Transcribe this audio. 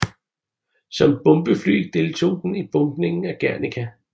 Som bombefly deltog den i bombningen af Guernica